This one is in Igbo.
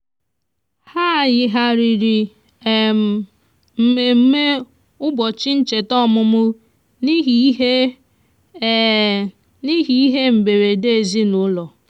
e bugharịrị nri abalị mgbe um m um matachara na ụlọọrụ oriri um na ọṅụṅụ mechiri nwa oge.